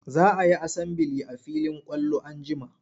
Za a yi asambili a filin kwallo an jima.